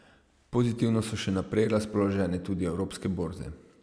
Pozitivno so še naprej razpoložene tudi evropske borze.